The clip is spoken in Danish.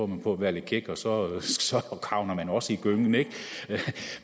man på at være lidt kæk og så havner man også i gyngen ikke